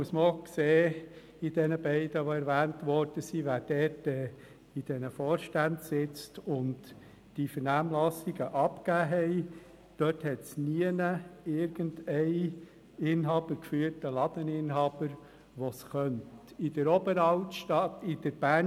Muss man auch sehen, dass in den beiden erwähnten Innenstadtorganisationen niemand von einem Inhaber geführten Laden im Vorstand sitzt und sich in die Vernehmlassung eingebracht hat.